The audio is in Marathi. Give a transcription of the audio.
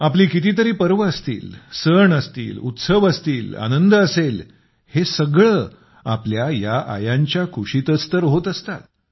आपले कितीतरी पर्व असतील सण असतील उत्सव असतील आनंद असेल हे सगळं आपल्या या आयांच्या कुशीतच तर होत असतात